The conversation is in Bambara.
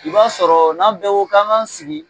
I b'a sɔrɔ n'an bɛɛ ko k'an k'an sigi